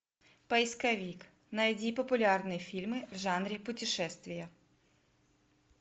поисковик найди популярные фильмы в жанре путешествия